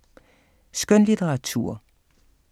Skønlitteratur